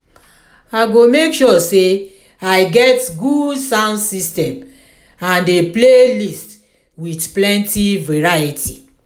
i go make sure say i get good sound system and a playlist with plenty variety.